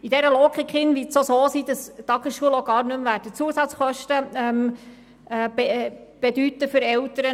In dieser Logik wird es auch so sein, dass Tagesschulen für die Eltern gar keine Zusatzkosten mehr verursachen.